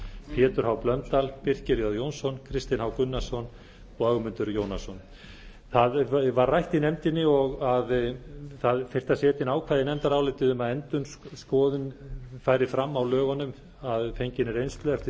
pétur h blöndal birkir j jónsson kristinn h gunnarsson og ögmundur jónasson það var rætt í nefndinni að það þyrfti að setja inn ákvæði í nefndarálitið um að endurskoðun færi fram á lögunum að fenginni reynslu eftir